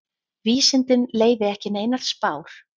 Vísindin leyfi ekki neinar spár.